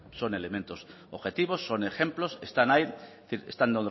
son elemento objetivos son ejemplos están ahí es decir están